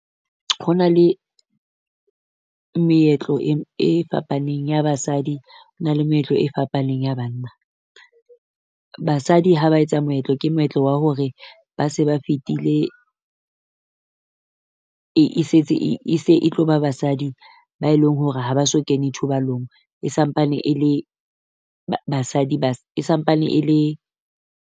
Ho na le meetlo e fapaneng ya basadi, ho na le meetlo e fapaneng ya banna. Basadi ha ba etsa moetlo, ke moetlo wa hore ba se ba fetile e e setse e e se tlo ba basadi ba e leng hore ha ba so kene thobalong. E sampane e le ba basadi ba e sampane e le.